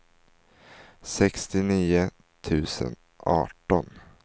sextionio tusen arton